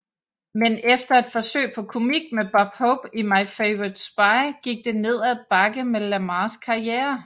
Men efter et forsøg på komik med Bob Hope i My Favorite Spy gik det nedad bakke med Lamarrs karriere